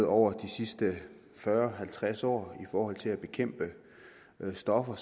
over de sidste fyrre halvtreds år i forhold til at bekæmpe stoffer